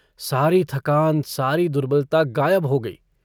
सारी थकान सारी दुर्बलता गायब हो गयी।